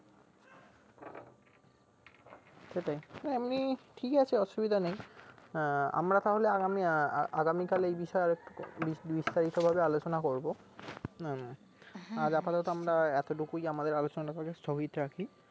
সেটাই আমি ঠিকই আছি অসুবিধা নেই আহ আমরা তাহলে আগামী আহ আহ আগামী কালে এই বিষয়ে আরেকটু ক বিস্বিস্বিস্তারিত ভাবে আলোচনা করবো আমরা এতটুকুই আলোচনা তা স্থগিত রাখি